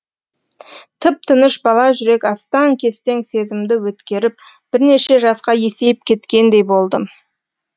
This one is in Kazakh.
тып тыныш бала жүрек астаң кестең сезімді өткеріп бірнеше жасқа есейіп кеткендей болдым